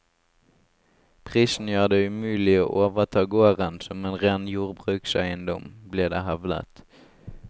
Prisen gjør det umulig å overta gården som en ren jordbrukseiendom, blir det hevdet.